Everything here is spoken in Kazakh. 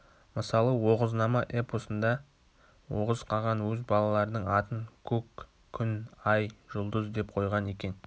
мысалы оғызнама эпосында оғыз қаған өз балаларының атын көк күн ай жұлдыз деп койған екен